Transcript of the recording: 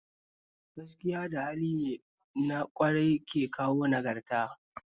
Gaskiya da hali na ƙwarai ke kawo nagarta